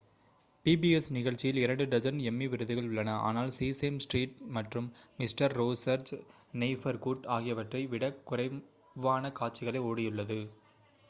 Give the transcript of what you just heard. pbs நிகழ்ச்சியில் இரண்டு dozen Emmy விருதுகள் உள்ளன ஆனால் சீசேம் ஸ்ட்ரீட் மற்றும் மிஸ்டர் ரோஜர்ஸ் நெய்பர்ஹூட் ஆகியவற்றை விடக் குறைவான காட்சிகளே ஓடியுள்ளது